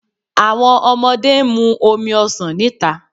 Awọn ọmọde n mu omi ọsan nita